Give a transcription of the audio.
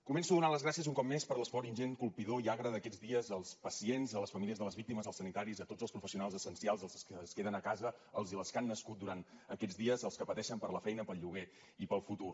començo donant les gràcies un cop més per l’esforç ingent colpidor i agre d’aquests dies als pacients a les famílies de les víctimes als sanitaris a tots els professionals essencials als que es queden a casa als i les que han nascut durant aquests dies als que pateixen per la feina pel lloguer i pel futur